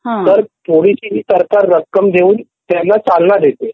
तर थोडीशी ही सरकार रक्कम देऊन व्यवसाय चालण्यासाठी चालना देते